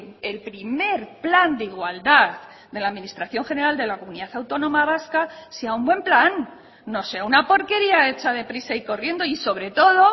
el primer plan de igualdad de la administración general de la comunidad autónoma vasca sea un buen plan no sea una porquería hecha deprisa y corriendo y sobre todo